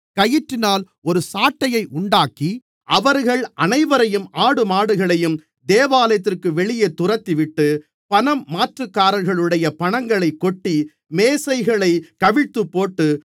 கயிற்றினால் ஒரு சாட்டையை உண்டாக்கி அவர்கள் அனைவரையும் ஆடுமாடுகளையும் தேவாலயத்திற்கு வெளியே துரத்திவிட்டு பணம் மாற்றுக்காரர்களுடைய பணங்களைக் கொட்டி மேசைகளைக் கவிழ்த்துப்போட்டு